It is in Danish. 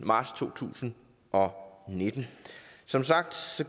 marts to tusind og nitten som sagt